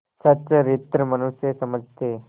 सच्चरित्र मनुष्य समझते